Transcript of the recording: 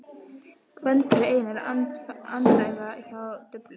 Gvendur og Einar andæfa hjá duflinu.